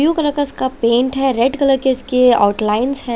Blue colour का इसका paint है रेड कलर इसके आउट लाइन्स है।